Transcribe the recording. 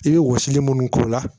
I bɛ wɔsili mun k'o la